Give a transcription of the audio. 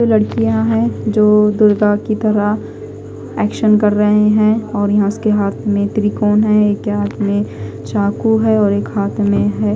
दो लड़कियां है जो दुर्गा की तरह एक्शन कर रहे हैं और यहां उसके हाथ में त्रिकोण हैं एक के हाथ में चाकू है और एक हाथ में है।